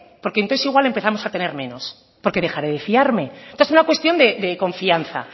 porque entonces igual empezamos a tener menos porque dejaré de fiarme esta es una cuestión de confianza